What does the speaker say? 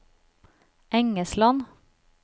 Engesland